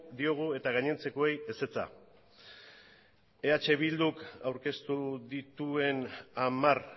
diogu eta gainontzekoei ezetza eh bilduk aurkeztu dituen hamar